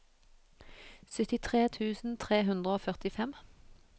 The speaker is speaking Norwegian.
syttitre tusen tre hundre og førtifem